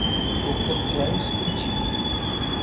dr james kitching